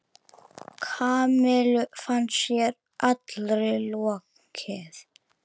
Kamillu fannst sér allri lokið.